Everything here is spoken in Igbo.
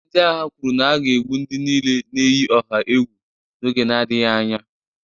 Ndị agha kwuru na a ga-egbu ndị niile na-eyi ọha egwu n'oge na-adịghị anya